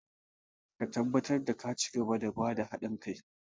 Ka tabbatar da ka cigaba da ba da hadin kai!